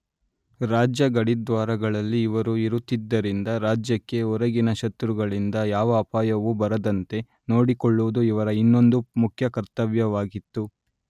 ರಾಜ್ಯ ಗಡಿದ್ವಾರಗಳಲ್ಲಿ ಇವರು ಇರುತ್ತಿದ್ದರಿಂದ ರಾಜ್ಯಕ್ಕೆ ಹೊರಗಿನ ಶತ್ರುಗಳಿಂದ ಯಾವ ಅಪಾಯವೂ ಬರದಂತೆ ನೋಡಿಕೊಳ್ಳುವುದು ಇವರ ಇನ್ನೊಂದು ಮುಖ್ಯ ಕರ್ತವ್ಯವಾಗಿತ್ತು.